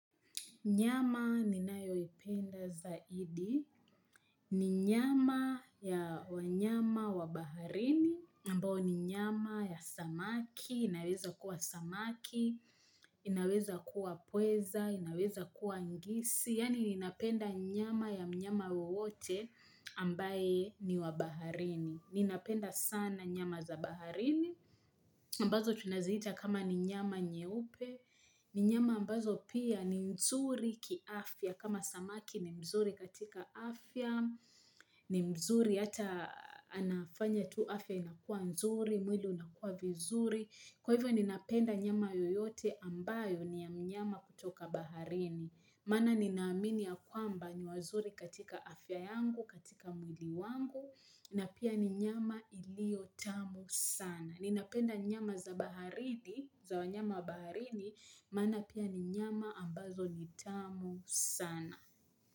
Nyama ninayo ipenda zaidi, ni nyama ya wanyama wa baharini, ambao ni nyama ya samaki, inaweza kuwa samaki, inaweza kuwa pweza, inaweza kuwa ngisi, yani inapenda nyama ya mnyama wowote ambaye ni wa baharini. Ninapenda sana nyama za baharini, ambazo tunaziita kama ni nyama nyeupe, ni nyama ambazo pia ni mzuri ki afya, kama samaki ni mzuri katika afya, ni mzuri ata anafanya tu afya inakua nzuri, mwili unakua vizuri. Kwa hivyo ni napenda nyama yoyote ambayo ni ya mnyama kutoka baharini. Maana nina amini ya kwamba ni wazuri katika afya yangu, katika mwili wangu, na pia ni nyama ilio tamu sana. Ni napenda nyama za baharini, za wanyama wa baharini, maana pia ni nyama ambazo ni tamu sana.